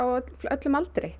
öllum aldri